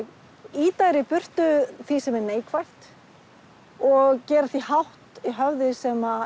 ýta þeir í burtu því sem er neikvætt og gera því hátt í höfði sem